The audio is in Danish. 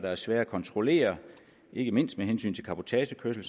er svære at kontrollere ikke mindst med hensyn til cabotagekørsel